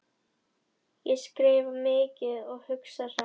Ég skrifa mikið og hugsa hratt.